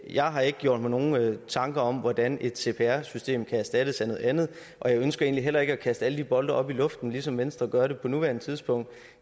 jeg har ikke gjort mig nogen tanker om hvordan et cpr system kan erstattes af noget andet og jeg ønsker egentlig heller ikke at kaste alle de bolde op i luften som venstre gør på nuværende tidspunkt